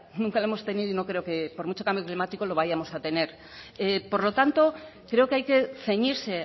nunca lo hemos tenido y no creo que por mucho cambio climático lo vayamos a tener por lo tanto creo que hay que ceñirse